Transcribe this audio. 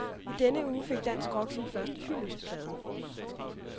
I denne uge fik dansk rock sin første hyldestplade.